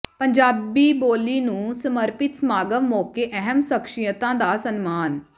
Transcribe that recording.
ਪੰਜਾਬੀ ਬੋਲੀ ਨੂੰ ਸਮਰਪਿਤ ਸਮਾਗਮ ਮੌਕੇ ਅਹਿਮ ਸਖ਼ਸ਼ੀਅਤਾਂ ਦਾ ਸਨਮਾਨ